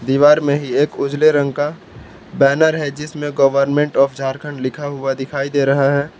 दिवार में ही एक उजले रंग का बैनर है जिसमें गवर्नमेंट ऑफ झारखंड लिखा हुआ दिखाई दे रहा है।